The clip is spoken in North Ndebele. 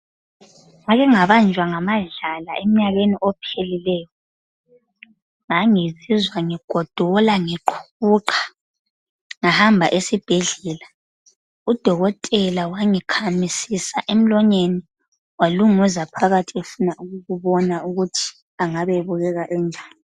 Ngake ngabanjwa ngamadlala emnyakeni ophelileyo. Ngangizizwa ngigodola ngiqhuqha. Ngahamba esibhedlela ngahamba esibhedlela. Udokotela wangikhamisisa emlonyeni walunguza phakathi efuna ukubona ukuthi angabe ebukeka enjani.